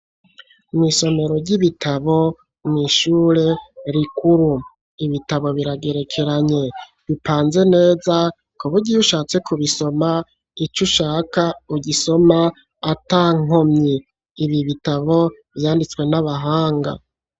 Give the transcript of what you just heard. Mw'isomero ry'ibitabo mw'ishure rikuru. Ibitabo biragerekeranye, bipanze neza kuburyo iyo ushatse kubisoma ico ushaka ugisoma atankomyi, ibi bitabo vyanditswe n'abahanga.